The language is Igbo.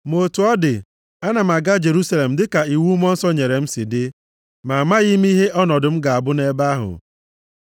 “Ma otu ọ dị, ana m aga Jerusalem dịka iwu Mmụọ Nsọ nyere m si dị, ma amaghị m ihe ọnọdụ m ga-abụ nʼebe ahụ.